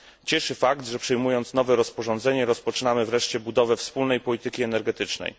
Cieszy fakt, że przyjmując nowe rozporządzenie, rozpoczynamy wreszcie budowę wspólnej polityki energetycznej.